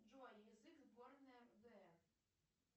джой язык сборной рудн